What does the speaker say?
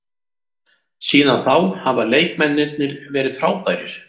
Síðan þá hafa leikmennirnir verið frábærir.